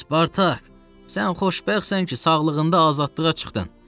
Spartak, sən xoşbəxtsən ki, sağlığında azadlığa çıxdın.